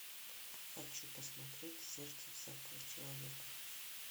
хочу посмотреть сердце всякого человека